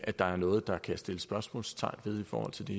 at der er noget der kan sættes spørgsmålstegn ved i forhold til det